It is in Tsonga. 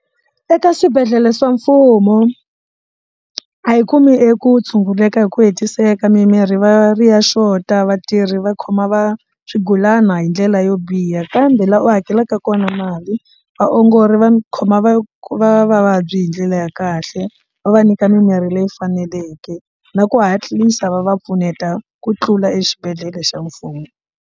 Eka swibedhlele swa mfumo a yi kumi eku tshunguleka hi ku hetiseka mimirhi va ri ya xota vatirhi va khoma va swigulana hi ndlela yo biha kambe laha u hakelaka kona mali vaongori va khoma va va va vabyi hi ndlela ya kahle va va nyika mimirhi leyi faneleke na ku hatlisa va va pfuneta ku tlula exibedhlele xa mfumo.